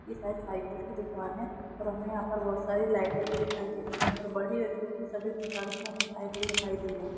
ये शायद साइकिल की दुकान है और हमे यहाँ पर बहुत सारी साइकिल भी दिखाई दे रही है बड़ी और छोटी सभी प्रकार की हमे साइकिल दिखाई दे रही है।